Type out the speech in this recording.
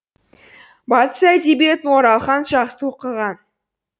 батыс әдебиетін оралхан жақсы оқыған